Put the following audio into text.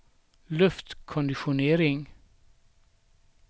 luftkonditionering